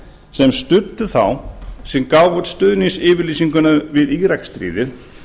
sem studdu þá sem gáfu út stuðningsyfirlýsinguna við íraksstríðið